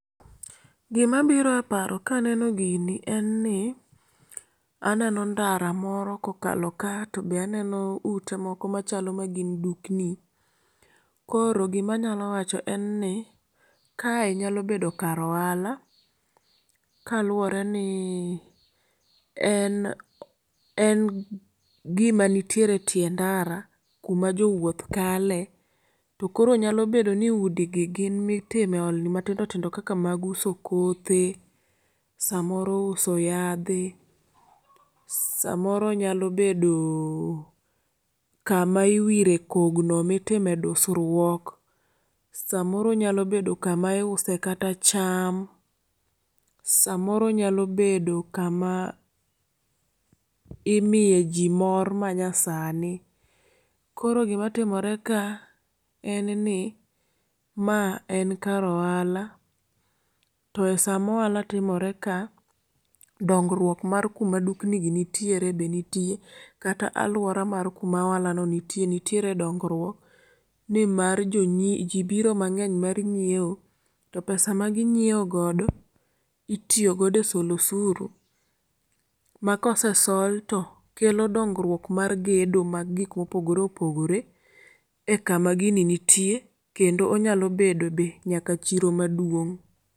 Gima biro e paro ka aneno gini en ni, aneno ndara moro kokalo ka to be aneno ute moko machalo magin dukni. Koro gima anyalo wacho en ni, kae nyalo bedo kar ohala. Kaluwore ni en en gima nitie e tie ndara kuma jowuoth kale. To koro nyalo bedo ni udi gi, gin ma itime ohande matindo tindo kaka mag uso kothe, samoro uso yadhe, samoro onyalo bedo kama iwire kogno mitime dusruok. Samoro onyalo bedo kama iuse kata cham. Samoro onyalo bedo kama imiye ji mor manyasani. Koro gima timore ka en ni, ma en kar ohala, to e sama ohala timore ka, dongruok mar kuma dukni gi nitiere be nitie. Kata alwora mar kuma ohala no nitie, nitiere dongruok, ni mar ji biro mang'eny mar nyiewo, to pesa ma gi nyiewo godo, itiyogodo e solo osuru, ma kosesol to kelo dongruok mar gedo mag gik ma opogore opogore e kama gini nitier. Kendo onyalo bedo be nyaka chiro maduong'.